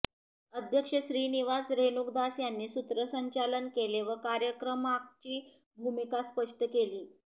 अध्यक्ष श्रीनिवास रेणूकदास यांनी सूत्रसंचालन केले व कार्यक्रमागची भूमिका स्पष्ट केली